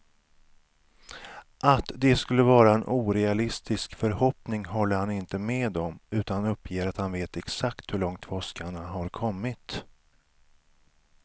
Att det skulle vara en orealistisk förhoppning håller han inte med om, utan uppger att han vet exakt hur långt forskarna har kommit.